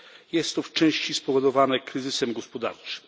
Jest to w części spowodowane kryzysem gospodarczym.